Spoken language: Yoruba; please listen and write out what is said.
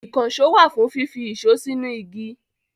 Ìkànṣó wà fún fífi ìṣó sínú igi.